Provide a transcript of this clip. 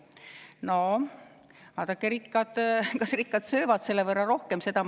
No vaadake, kas rikkad söövad selle võrra rohkem!